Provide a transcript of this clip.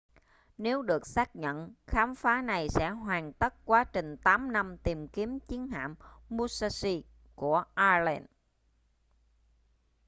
nếu được xác nhận khám phá này sẽ hoàn tất quá trình 8 năm tìm kiếm chiến hạm musashi của allen